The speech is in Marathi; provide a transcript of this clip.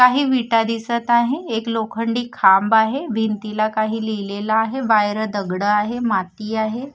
काही विटा दिसतं आहे. एक लोखंडी खांब आहे. भिंतीला काही लिहिलेलं आहे. बाहेर दगडं आहे माती आहे.